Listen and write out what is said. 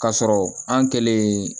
K'a sɔrɔ an kɛlen